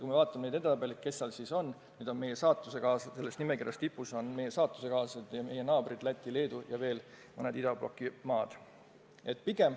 Kui me vaatame edetabeleid, kes seal eesotsas on, siis selle nimekirja tipus on meie saatusekaaslased ja meie naabrid Läti ja Leedu ning veel mõned idabloki maad.